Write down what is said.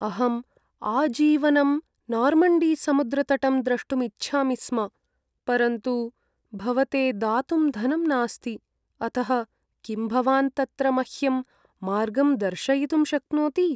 अहम् आजीवनं नार्मण्डीसमुद्रतटं द्रष्टुम् इच्छामि स्म, परन्तु भवते दातुं धनं नास्ति, अतः किं भवान् तत्र मह्यं मार्गं दर्शयितुं शक्नोति?